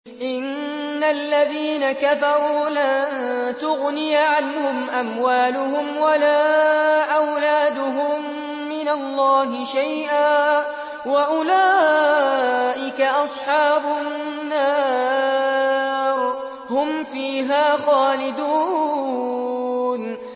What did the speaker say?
إِنَّ الَّذِينَ كَفَرُوا لَن تُغْنِيَ عَنْهُمْ أَمْوَالُهُمْ وَلَا أَوْلَادُهُم مِّنَ اللَّهِ شَيْئًا ۖ وَأُولَٰئِكَ أَصْحَابُ النَّارِ ۚ هُمْ فِيهَا خَالِدُونَ